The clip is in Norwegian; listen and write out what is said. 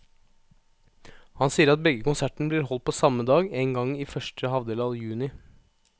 Han sier at begge konsertene blir holdt på samme dag, en gang i første halvdel av juni.